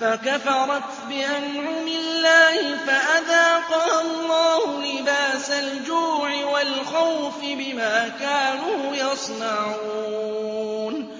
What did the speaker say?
فَكَفَرَتْ بِأَنْعُمِ اللَّهِ فَأَذَاقَهَا اللَّهُ لِبَاسَ الْجُوعِ وَالْخَوْفِ بِمَا كَانُوا يَصْنَعُونَ